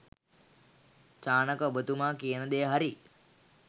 චානක ඔබතුමා කියන දෙය හරි.